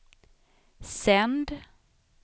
sänd